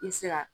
I se ka